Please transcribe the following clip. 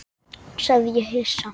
sagði ég hissa.